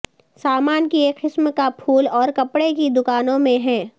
سامان کی ایک قسم کا پھول اور کپڑے کی دکانوں میں ہیں